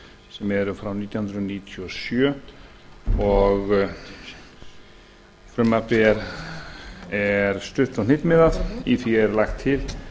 sem eru frá nítján hundruð níutíu og sjö frumvarpið er stutt og hnitmiðað í því er lagt til